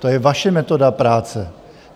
To je vaše metoda práce.